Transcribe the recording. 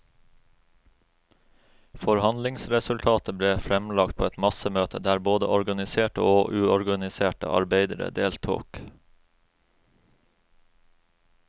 Forhandlingsresultatet ble fremlagt på et massemøte, der både organiserte og uorganiserte arbeidere deltok.